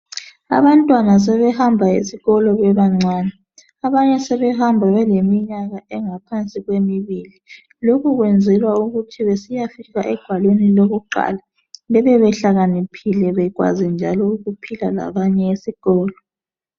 Abantwana sebehamba esikolo besesebancane abanye sebehamba beleminyaka engaphansi kwemibili. Lokhu kwenzelwa ukuthi besiyafika egwaleni lakuqala bebe behlakaniphile njalo bekwazi njalo ukuphila labanye esikolo